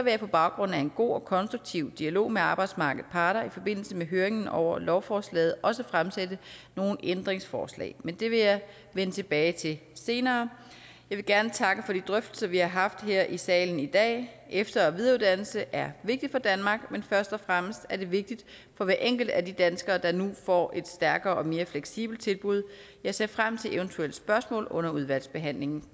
jeg på baggrund af en god og konstruktiv dialog med arbejdsmarkedets parter i forbindelse med høringen over lovforslaget også fremsætte nogle ændringsforslag men det vil jeg vende tilbage til senere jeg vil gerne takke for de drøftelser vi har haft her i salen i dag efter og videreuddannelse er vigtigt for danmark men først og fremmest er det vigtigt for hver enkelt af de danskere der nu får et stærkere og mere fleksibelt tilbud jeg ser frem til eventuelle spørgsmål under udvalgsbehandlingen